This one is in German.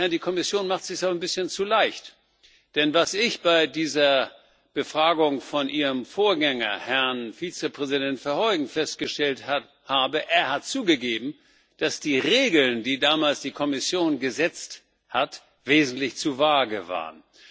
Die Kommission macht es sich aber ein bisschen zu leicht. Denn was ich bei dieser Befragung von Ihrem Vorgänger, Herrn Vizepräsident Verheugen, festgestellt habe, ist Er hat zugegeben, dass die Regeln, die damals die Kommission gesetzt hat, wesentlich zu vage waren.